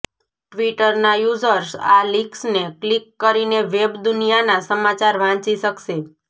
ટ્વિટરના users આ લિક્સને click કરીને વેબદુનિયાના સમાચાર વાંચી શકશે